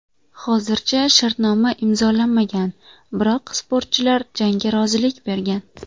Hozircha shartnoma imzolanmagan, biroq sportchilar jangga rozilik bergan.